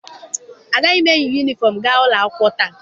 Agaghị m eyi yunifọm gaa ụlọ akwụkwọ taa.